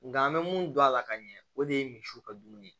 Nga an be mun don a la ka ɲɛ o de ye misiw ka dumuni ye